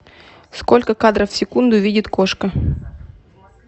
сколько кадров в секунду видит кошка